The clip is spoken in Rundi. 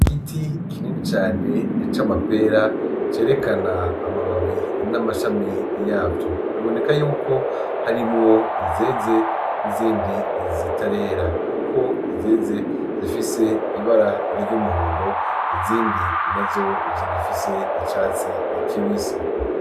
Igiti kinini cane c'amapera cerekana amababi, n;amashami yavyo. Biboneka yuko harimwo izeze n'izindi zitarera, kuko izeze zifise ibara ry'umuhondo, izindi nazo zigifise icatsi kibisi.